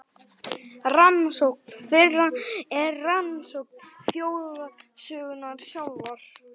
Rannsókn þeirra er rannsókn þjóðarsögunnar sjálfrar.